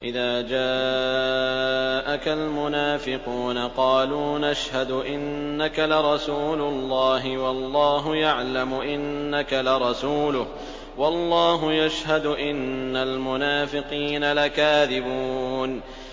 إِذَا جَاءَكَ الْمُنَافِقُونَ قَالُوا نَشْهَدُ إِنَّكَ لَرَسُولُ اللَّهِ ۗ وَاللَّهُ يَعْلَمُ إِنَّكَ لَرَسُولُهُ وَاللَّهُ يَشْهَدُ إِنَّ الْمُنَافِقِينَ لَكَاذِبُونَ